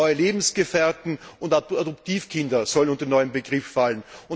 Auch neue Lebensgefährten und Adoptivkinder sollen unter den neuen Begriff fallen.